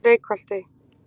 Reykholti